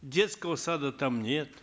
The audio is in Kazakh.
детского сада там нет